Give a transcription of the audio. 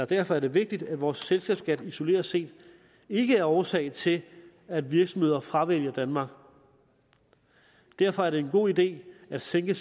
derfor er det vigtigt at vores selskabsskat isoleret set ikke er årsag til at virksomheder fravælger danmark derfor er det en god idé at sænke